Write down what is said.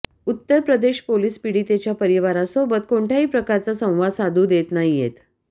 उत्तर प्रदेश पोलीस पीडितेच्या परिवारासोबत कोणत्याही प्रकारचा संवाद साधू देत नाहीएत